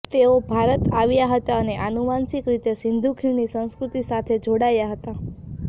તેઓ ભારત આવ્યા હતા અને આનુવાંશિક રીતે સિંધુ ખીણની સંસ્કૃતિ સાથે જોડાયા હતા